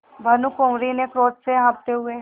भानुकुँवरि ने क्रोध से कॉँपते हुए